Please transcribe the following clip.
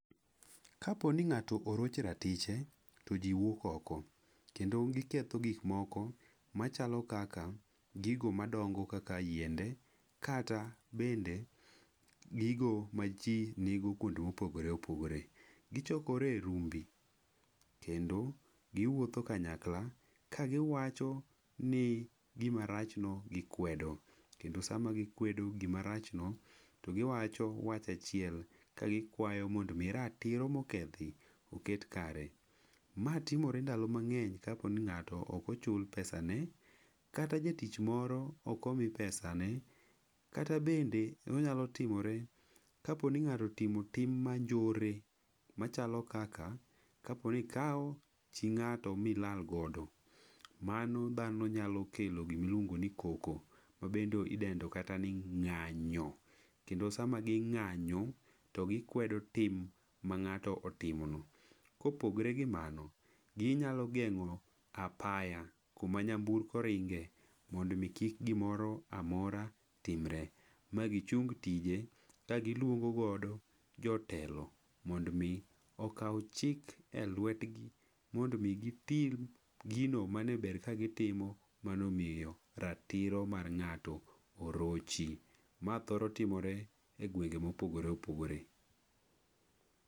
Kapo ni ng'ato orochi ratiche, to ji wuok oko. Kendo giketho gikmoko machalo kaka, gigo madongo kaka yiende, kata bende gigo ma ji nigo kuonde mopogore opogore. Gichokore e rumbi, kendo giwuotho kanyakla ka giwacho ni gimarachno gikwedo. Kendo sama gikwedo gimarachno, to giwacho wach achiel, ka gikwayo mond miratiro mokedhi oket kare. Matimore ndalo mang'eny kapo ni ng'ato ok ochul pesa ne, kata jatich moro ok omi pesa ne, kata bende e onyalo timore, kapo ni ng'ato timo tim manjore machalo kaka, kapo ni ikao chi ng'ato milal godo. Mano dhano nyalo kelo gi miluongo ni koko, ma bendo idendo kata ni ng'anyo. Kendo sama ging'anyo, to gikwedo tim mang'ato otimno. Kopogre gi mano, ginyalo geng'o apaya kuma nyamburko ringe, mondo mi kik gimoro amora timre, ma gichung tije ka giluongo godo jotelo. Mond mi okaw chik e lwetgi, mond mi gitim gino mane ber ka gitimo mano miyo ratiro mar ng'ato orochi. Ma thoro timore e gwenge mopogore opogore.